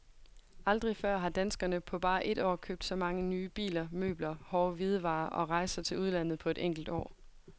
Aldrig før har danskerne på bare et år købt så mange nye biler, møbler, hårde hvidevarer og rejser til udlandet på et enkelt år.